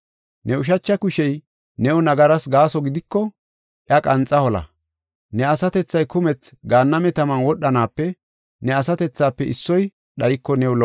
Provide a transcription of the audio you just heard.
Ne ushacha kushey new nagaras gaaso gidiko, iya qanxa hola. Ne asatethay kumethi gaanname taman wodhanaape ne asatethafe issoy dhayiko, new lo77o.